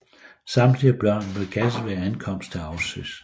Samtlige børn blev gasset ved ankomst til Auschwitz